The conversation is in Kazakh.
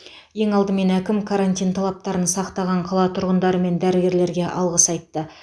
ең алдымен әкім карантин талаптарын сақтаған қала тұрғындары мен дәрігерлерге алғыс айтты